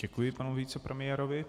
Děkuji panu vicepremiérovi.